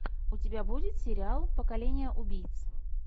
у тебя будет сериал поколение убийц